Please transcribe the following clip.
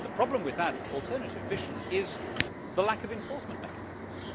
The problem with that alternative vision is the lack of enforcement mechanisms.